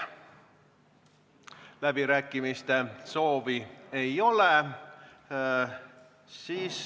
Läbirääkimiste soovi ei ole.